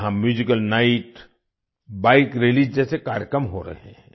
यहाँ musical night bike rallies जैसे कार्यक्रम हो रहे हैं